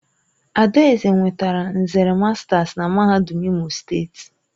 Adaeze nwetara nzere masters na MAHADUM IMO STEETI.